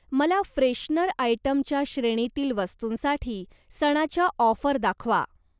मला फ्रेशनर आयटमच्या श्रेणीतील वस्तूंसाठी सणाच्या ऑफर दाखवा.